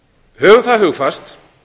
höfum það hugfast